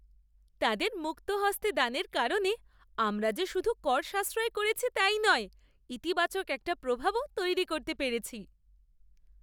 তাদের মুক্তহস্তে দানের কারণে আমরা যে শুধু কর সাশ্রয় করেছি তাই নয়, ইতিবাচক একটা প্রভাবও তৈরি করতে পেরেছি!